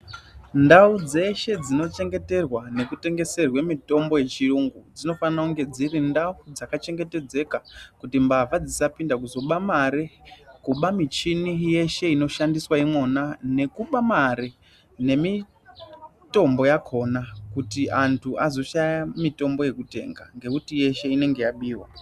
Ndau dzeshe dzinochengeterwa panotengeserwe mitombo yechiyungu dzinofana kunge dziri ndau dzakachengetedzeka kuti mbavha dzisapinda kuzoba mari, kuba michini yeshe inoshandiswe imwona nekuba mare, nemitombo yakona kuti antu azoshaya mitombo yekutenga ngekuti yeshe inenge yabiwa.